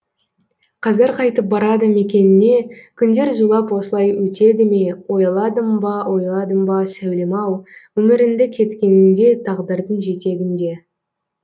қаздар қайтып барады мекеніне күндер зулап осылай өтеді ме ойладың ба ойладың ба сәулем ау өміріңді кеткеніңде тағдырдың жетегінде